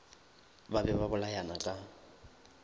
ba be ba bolayana ka